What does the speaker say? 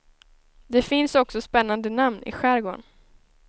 Det finns också spännande namn i skärgården.